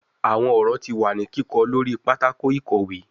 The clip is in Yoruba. Awọn ọrọ ti wa ni kikọ lori patako ikowe